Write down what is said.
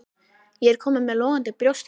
Ég er kominn með logandi brjóstverk.